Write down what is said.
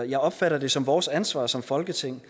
jeg opfatter det som vores ansvar som folketing